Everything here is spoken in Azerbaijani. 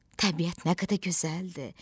Təbiət nə qədər gözəldir!